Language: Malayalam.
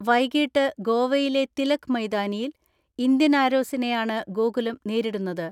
വൈകീട്ട് ഗോവയിലെ തിലക് മൈതാനിയിൽ ഇന്ത്യൻ ആരോസിനെയാണ് ഗോകുലം നേരിടുന്നത്.